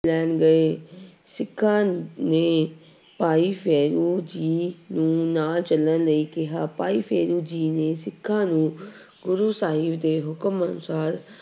ਲੈਣ ਗਏ ਸਿੱਖਾਂ ਨੇ ਭਾਈ ਫੇਰੂ ਜੀ ਨੂੰ ਨਾਲ ਚੱਲਣ ਲਈ ਕਿਹਾ ਭਾਈ ਫੇਰੂ ਜੀ ਨੇ ਸਿੱਖਾਂ ਨੂੰ ਗੁਰੂ ਸਾਹਿਬ ਦੇ ਹੁਕਮ ਅਨੁਸਾਰ